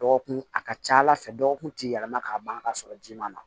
Dɔgɔkun a ka ca ala fɛ dɔgɔkun ti yɛlɛma ka ban ka sɔrɔ ji ma na